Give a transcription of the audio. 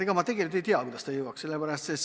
Ega ma tegelikult ei tea, kuidas jõuaks.